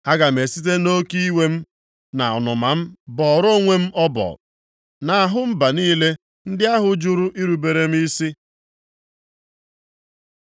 Aga m esite nʼoke iwe m na ọnụma m bọọrọ onwe m ọbọ nʼahụ mba niile ndị ahụ jụrụ irubere m isi.”